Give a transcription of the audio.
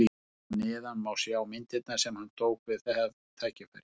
Hér að neðan má sjá myndirnar sem hann tók við það tækifæri.